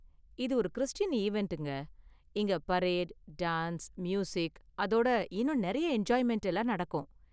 இது ஒரு கிறிஸ்டியன் ஈவண்ட்ங்க, இங்க பரேடு, டான்ஸ், மியூசிக் அதோட இன்னும் நிறைய என்ஜாய்மெண்ட் எல்லாம் நடக்கும்.